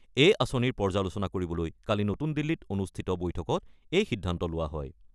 এই আঁচনিৰ পৰ্যালোচনা কৰিবলৈ কালি নতুন দিল্লীত অনুষ্ঠিত বৈঠকত এই সিদ্ধান্ত লোৱা হয়।